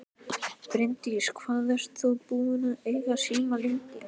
Bryndís: Hvað ert þú búinn að eiga síma lengi?